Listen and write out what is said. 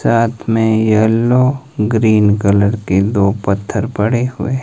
साथ में yellow green colour के दो पत्थर पड़े हुए--